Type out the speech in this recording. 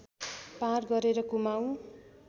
पार गरेर कुमाउँ